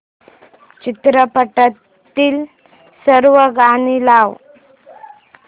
चित्रपटातील सर्व गाणी लाव